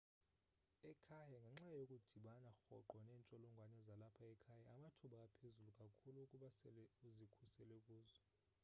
ekhaya ngenxa yokudibana rhoqo neentsholongwane zalapha ekhaya amathuba aphezulu kakhulu ukuba sele uzikhusele kuzo